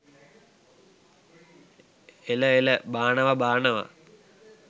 එළ එළ බානවා බානවා